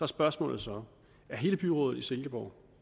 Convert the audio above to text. spørgsmålet så er hele byrådet i silkeborg